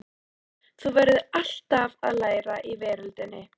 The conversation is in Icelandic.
Þú verður alltaf að læra í veröldinni.